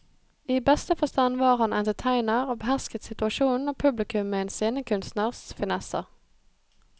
I beste forstand var han entertainer og behersket situasjonen og publikum med en scenekunstners finesser.